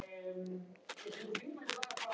Svo var það ekki meira.